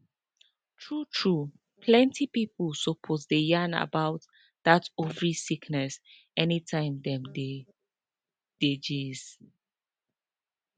true true plenty pipo suppose dey yarn about that ovary sickness anytime dem dey dem dey gist